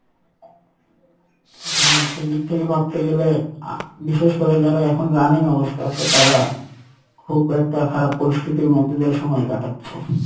হ্যাঁ সেইদিক থেকে ভাবতে গেলে আহ্ বিশেষ করে যারা এখন running অবস্থায় আসে তারা খুব একটা খারাপ পরিস্থিতির মধ্যে দিয়ে সময় কাটাচ্ছে।